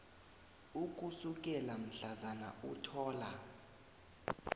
ukusukela mhlazana uthola